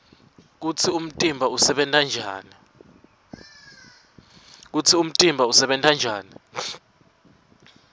kutsi umtimba usebenta njani